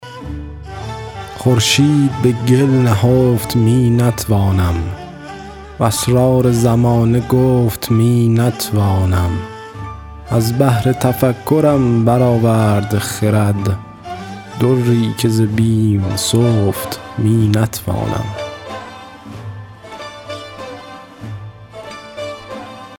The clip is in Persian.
خورشید به گل نهفت می نتوانم و اسرار زمانه گفت می نتوانم از بحر تفکرم برآورد خرد دری که ز بیم سفت می نتوانم